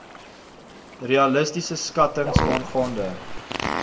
realistiese skattings aangaande